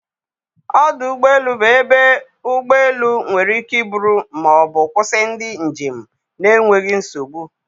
Ọdụ ụgbọ elu bụ ebe ụgbọ elu nwere ike iburu ma ọ bụ kwụsị ndị njem n'enweghị nsogbu